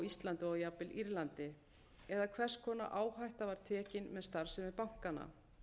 íslandi og jafnvel írlandi eða hvers konar áhætta var tekin með starfsemi bankanna